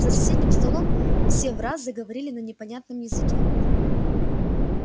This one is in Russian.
за соседним столом все враз заговорили на непонятном языке